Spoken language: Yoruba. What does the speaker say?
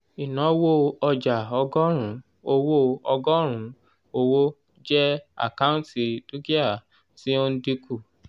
ìnáwó ọjà ọgọ́rùn-ún owó ọgọ́rùn-ún owó jẹ́ àkáǹtì dúkìá tí ó ń dínkù